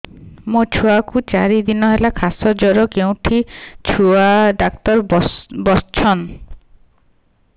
ମୋ ଛୁଆ କୁ ଚାରି ଦିନ ହେଲା ଖାସ ଜର କେଉଁଠି ଛୁଆ ଡାକ୍ତର ଵସ୍ଛନ୍